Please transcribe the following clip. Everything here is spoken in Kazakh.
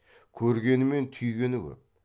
көргені мен түйгені көп